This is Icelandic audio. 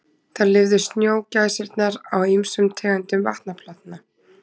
Þar lifðu snjógæsirnar á ýmsum tegundum vatnaplantna.